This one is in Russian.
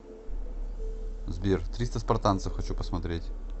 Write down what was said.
сбер триста спартанцев хочу посмотреть